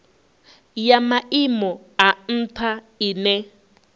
ya maimo a ntha ine